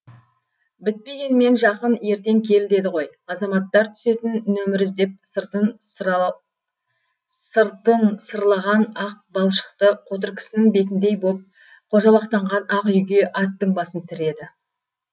бітпегенмен жақын ертең кел деді ғой азаматтар түсетін нөмір іздеп сыртын сырлаған ақ балшықты қотыр кісінің бетіндей боп қожалақтанған ақ үйге аттың басын тіреді